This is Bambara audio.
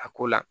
A ko la